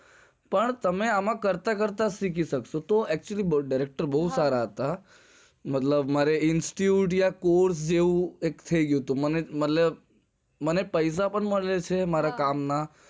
પણ તમે આમ આમ કરતા કરતા શીખી સક્સો મારા director બોજ સારા હતા મતલબ મારે course જેવું થઇ ગયું હતું મારે મારા કામ ના પૈસા પણ માલ્ટા હતા